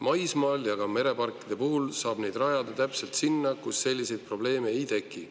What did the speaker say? Maismaal ja ka mereparkide puhul saab neid rajada täpselt sinna, kus selliseid probleeme ei teki.